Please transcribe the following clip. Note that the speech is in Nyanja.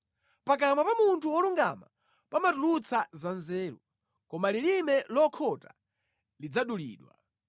Pakamwa pa munthu wolungama pamatulutsa za nzeru, koma lilime lokhota lidzadulidwa.